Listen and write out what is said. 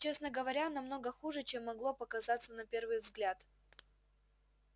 честно говоря намного хуже чем могло показаться на первый взгляд